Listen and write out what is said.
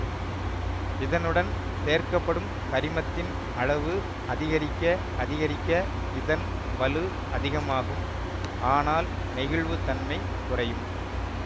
இதனுடன் சேர்க்க படும் கரிமத்தின் அளவு அதிகரிக்க அதிகரிக்க இதன் வலு அதிகமாகும் ஆனால் நெகிழ்வுத்தன்மை குறையும்